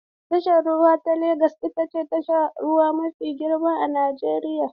Tashar ruwa ta Legas ita ce tashar ruwa mafi girma a Najeriya.